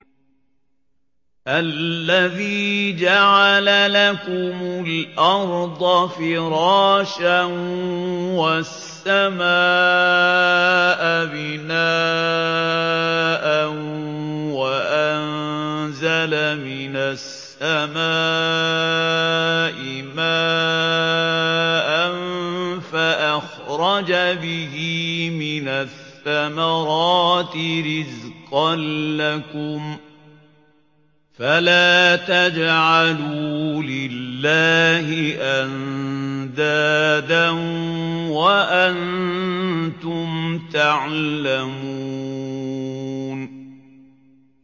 الَّذِي جَعَلَ لَكُمُ الْأَرْضَ فِرَاشًا وَالسَّمَاءَ بِنَاءً وَأَنزَلَ مِنَ السَّمَاءِ مَاءً فَأَخْرَجَ بِهِ مِنَ الثَّمَرَاتِ رِزْقًا لَّكُمْ ۖ فَلَا تَجْعَلُوا لِلَّهِ أَندَادًا وَأَنتُمْ تَعْلَمُونَ